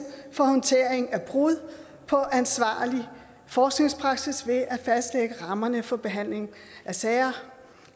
for håndtering af brud på ansvarlig forskningspraksis ved at fastlægge rammerne for behandling af sager